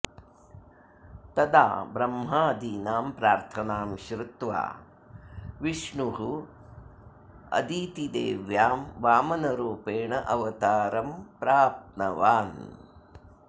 तदा ब्रह्मादीनां प्रार्थनां श्रृत्वा विष्णुः अदितिदेव्यां वामनरूपेण अवतारं प्राप्तवान्